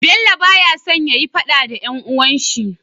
Bello baya son yayi faɗa da dan uwan shi